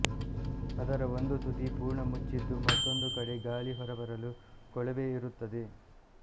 ಅದರ ಒಂದು ತುದಿ ಪುರ್ಣ ಮುಚ್ಚಿದ್ದು ಮತ್ತೊಂದು ಕಡೆ ಗಾಳಿ ಹೊರಬರಲು ಕೊಳವೆಯಿರುತ್ತದೆ